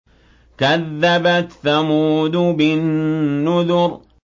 كَذَّبَتْ ثَمُودُ بِالنُّذُرِ